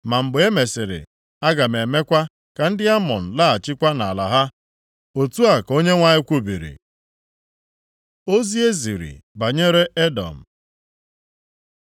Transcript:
“Ma mgbe e mesịrị, aga m emekwa ka ndị Amọn laghachikwa nʼala ha.” Otu a ka Onyenwe anyị kwubiri. Ozi e ziri banyere Edọm